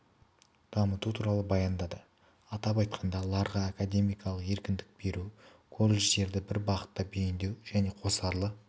дамыту туралы баяндады атап айтқанда ларға академиялық еркіндік беру колледждерді бір бағытқа бейіндеу және қосарлы